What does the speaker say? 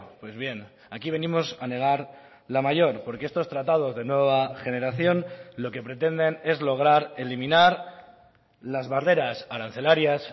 pues bien aquí venimos a negar la mayor porque estos tratados de nueva generación lo que pretenden es lograr eliminar las barreras arancelarias